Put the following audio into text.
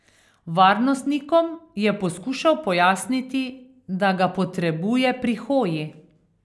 Varnostnikom je poskušal pojasniti, da ga potrebuje pri hoji.